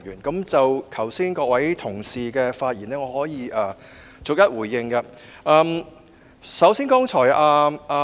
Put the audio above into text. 剛才各位同事的發言，我可以逐一回應。